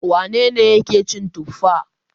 Wane ne yake cin tuffa?